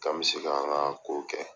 K'an bɛ se k'an ka kow kɛ.